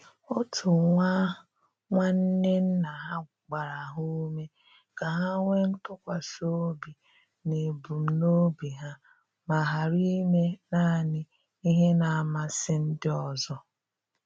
Otu nwa nwanne nna ha gbara ha ume ka ha nwee ntụkwasi obi n'ebumnobi ha ma ghara ime naanị ihe na-amasị ndị ọzọ.